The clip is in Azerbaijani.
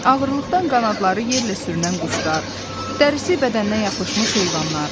Ağırlıqdan qanadları yerlə sürünən quşlar, dərisi bədəninə yapışmış heyvanlar.